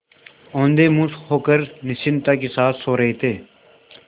औंधे मुँह होकर निश्चिंतता के साथ सो रहे थे